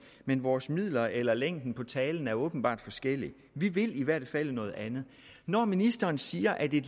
men vores midler eller længden på talen er åbenbart forskellig vi vil i hvert fald noget andet når ministeren siger at det er